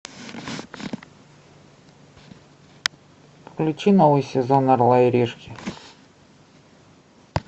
включи новый сезон орла и решки